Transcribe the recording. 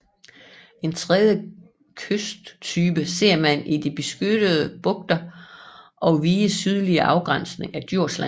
En tredje kysttype ser man i de beskyttede bugter og viges sydlige afgrænsning af Djursland